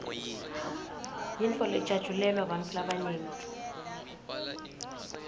yintfo lejatjulelwa bantfu labanyenti